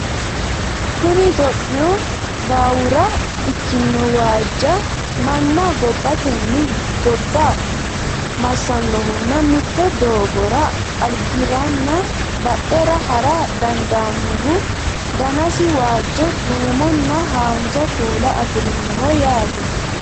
kuni itiyophiyu baawura ikkinohujawa manna gobbateni gobba massannohunna mitte doogora albiranna badhera hara dandaannohu danasi waajjo duuumonna haanja kuula afirinoho yaate